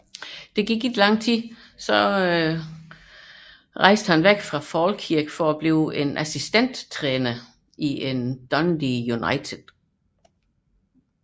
Efter kort tid forlod han imidlertid Falkirk for at blive assistenttræøner for Ian McCall i Dundee United